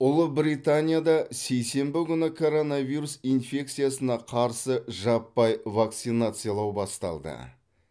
ұлыбританияда сейсенбі күні коронавирус инфекциясына қарсы жаппай вакцинациялау басталды